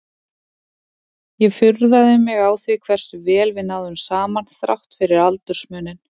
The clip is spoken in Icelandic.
Ég furðaði mig á því hversu vel við náðum saman þrátt fyrir aldursmuninn.